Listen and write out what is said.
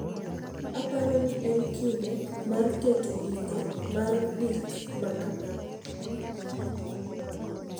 “Aparo ni en kinde mar keto giko mar gik ma kamago.”